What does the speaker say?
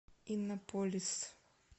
иннополис